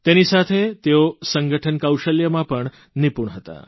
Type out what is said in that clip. તેની સાથે તેઓ સંગઠ્ઠન કૌશલ્યમાં પણ નિપૂણ હતા